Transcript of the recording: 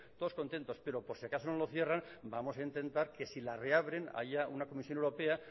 todos contentos pero por si acaso no lo cierran vamos a intentar que si la reabren haya una comisión europea